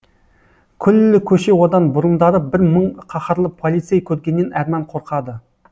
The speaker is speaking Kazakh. күллі көше одан бұрындары бір мың қаһарлы полицей көргеннен әрман қорқады